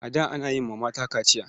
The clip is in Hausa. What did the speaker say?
A da ana yi wa mata kachiya.